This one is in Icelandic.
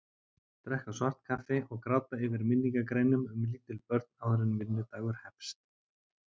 Drekka svart kaffi og gráta yfir minningargreinum um lítil börn áður en vinnudagur hefst.